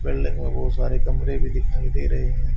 Building में बहुत सारे कमरे भी दिखाई दे रहे हैं।